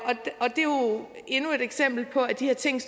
endnu et eksempel på at de her ting